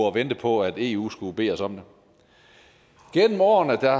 og vente på at eu skulle bede os om det gennem årene er